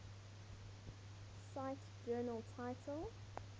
cite journal title